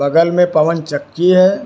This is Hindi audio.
बगल में पवन चक्की है।